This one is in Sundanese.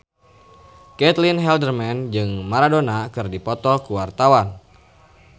Caitlin Halderman jeung Maradona keur dipoto ku wartawan